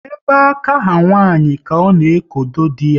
Ebe aka ha nwanyị ka ọ na ekodo dị ya